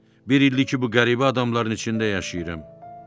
Bir ildir ki, bu qəribə adamların içində yaşayıram.